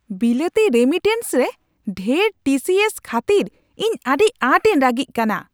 ᱵᱤᱞᱟᱹᱛᱤ ᱨᱮᱢᱤᱴᱮᱱᱥ ᱨᱮ ᱰᱷᱮᱨ ᱴᱤ ᱥᱤ ᱥ ᱠᱷᱟᱹᱛᱤᱨ ᱤᱧ ᱟᱹᱰᱤ ᱟᱸᱴ ᱤᱧ ᱨᱟᱹᱜᱤᱜ ᱠᱟᱱᱟ ᱾